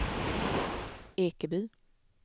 Ekeby